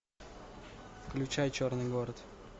включай черный город